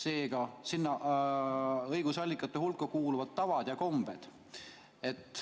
Kodifitseerimata õigusallikate hulka kuuluvad ka tavad ja kombed.